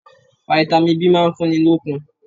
Fitami B máa ń fúnni lókun.